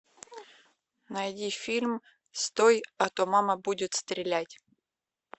найди фильм стой а то мама будет стрелять